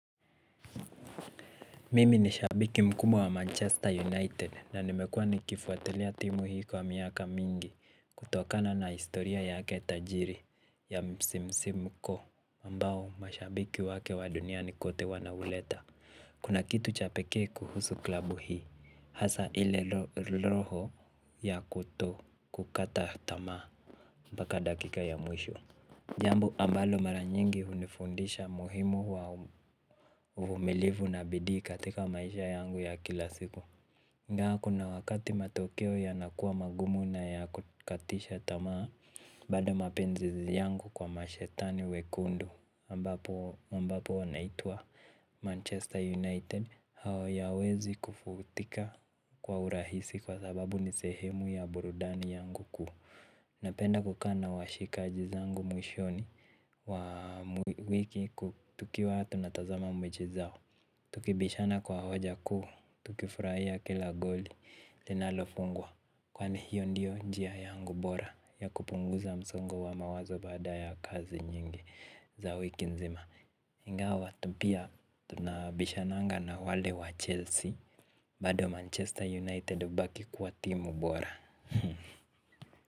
Mimi ni shabiki mkuu wa manchester united na nimekuwa nikifuatilia timu hii kwa miaka mingi kutokana na historia yake tajiri ya msimsimko ambao mashabiki wake wa duniani kote wanauleta kuna kitu cha pekee kuhusu klabu hii. Hasa ile loho ya kutokukata tamaa. Mpaka dakika ya mwisho. Jambo ambalo mara nyingi hunifundisha muhimu wa uvumilivu na bidii katika maisha yangu ya kila siku. Ingawa kuna wakati matokeo yanakua magumu na ya kukatisha tamaa bado mapenzi yangu kwa mashetani wekundu ambapo ambapo wanaitwa Manchester United hauyawezi kufutika kwa urahisi kwa sababu ni sehemu ya burudani yangu kuu. Napenda kukaa na washikaji zangu mwishoni. Wa wiki ku tukiwa tunatazama mechi zao. Tukibishana kwa hoja kuu, tukifurahia kila goli linalofungwa. Kwani hiyo ndiyo njia yangu bora ya kupunguza msongo wa mawazo baada ya kazi nyingi za wiki nzima. Ingawa tu pia tunabishananga na wale wa Chelsea. Bado Manchester United hubaki kwa timu bora.